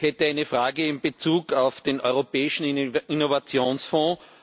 Ich hätte eine Frage in Bezug auf den Europäischen Innovationsfonds.